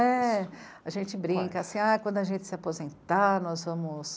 É, a gente brinca assim Ah, quando a gente se aposentar, nós vamos...